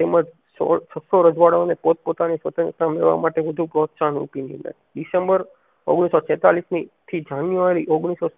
તેમજ છસો રજવાડાઓને પોતપોતાની સ્વતંત્રતા મેળવવા માટે વધુ પ્રોત્સાહન December ઓગણીસો છેંતાલીસ ની થી January ઓગણીસો